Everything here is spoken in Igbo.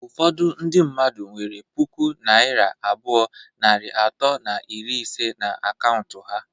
Ụfọdụ ndị mmadụ nwere pụkụ naira abụọ, narị atọ na iri ise na akaụntụ ha